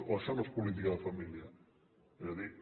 o això no és política de família és a dir